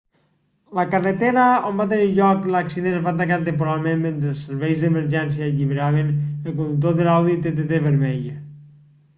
la carretera on va tenir lloc l'accident es va tancar temporalment mentre els serveis d'emergència alliberaven el conductor de l'audi tt vermell